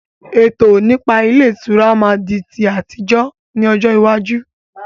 Ètò nípa ilé ìtura máa di ti àtijọ́ ni ọjọ́ iwájú